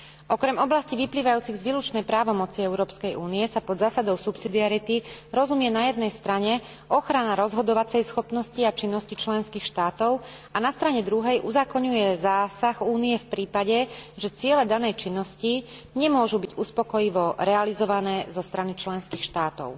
Okrem oblastí vyplývajúcich z výlučnej právomoci Európskej únie sa pod zásadou subsidiarity rozumie na jednej strane ochrana rozhodovacej schopnosti a činnosti členských štátov a na strane druhej uzákoňuje zásah Únie v prípade, že ciele danej činnosti nemôžu byť uspokojivo realizované zo strany členských štátov.